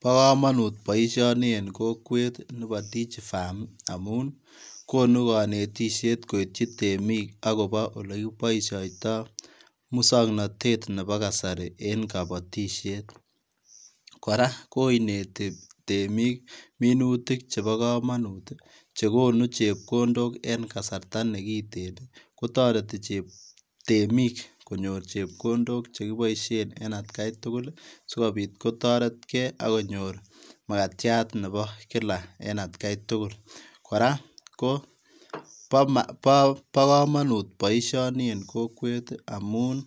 Bo kamanut kamanut boisioni bo [Digi farm] en kokwet ii amuun ii konuu kanetisheet kityoi temiik agobo ole kibaishaitaa musangnatet ab kasari en kabaatisheet kora koinetii temiik minutiik chebo kamanut chekonuu chepkondook en kasarta nekiteen ii kotaretii temiik konyoor chepkondook en at gai tugul ii sikobiit kotareet gei makatyaat nebo kila en at gai tugul kora ko bo kamanut boisioni en kokwet ii amuun